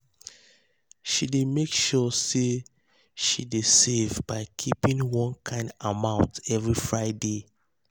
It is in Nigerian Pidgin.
she dey make sure say she um dey save by keeping one um kind amount every friday.